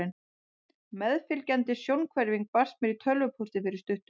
Meðfylgjandi sjónhverfing barst mér í tölvupósti fyrir stuttu.